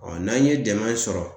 n'an ye dɛmɛ sɔrɔ